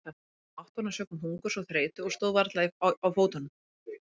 Hann var orðinn máttvana sökum hungurs og þreytu og stóð varla á fótunum.